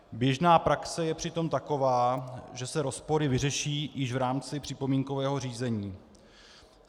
Běžná praxe je přitom taková, že se rozpory vyřeší již v rámci připomínkového řízení.